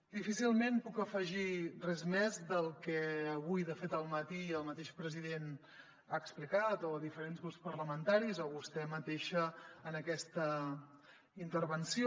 difícilment puc afegir res més al que avui de fet al matí el mateix president ha explicat o diferents grups parlamentaris o vostè mateixa en aquesta intervenció